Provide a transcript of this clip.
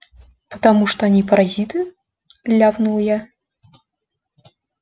потому что они паразиты ляпнул я